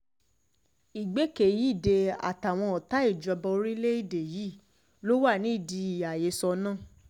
ìgbẹ́kẹyíde àtàwọn ọ̀tá ìjọba orílẹ̀‐èdè yìí ló wà nídìí àhesọ náà